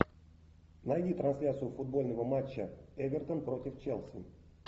найди трансляцию футбольного матча эвертон против челси